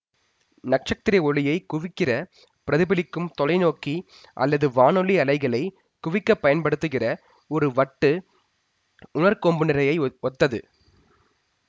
நட்சத்திர ஒளியை குவிக்கிற பிரதிபலிக்கும் தொலைநோக்கி அல்லது வானொலி அலைகளை குவிக்கப் பயன்படுத்துகிற ஒரு வட்டு உணர்கொம்புநிரையை ஒத்தது